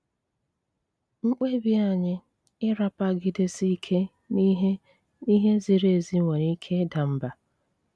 Mkpébi ányị́ ị́rapagidési íké n'íhé n'íhé zíri ézí nwéré íké ịda mbá.